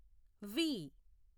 వి